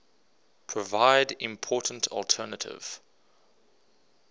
provide important alternative